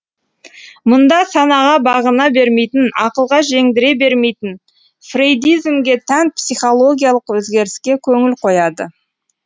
мұнда санаға бағына бермейтін ақылға жеңдіре бермейтін фрейдизмге тән психологиялық өзгеріске көңіл қояды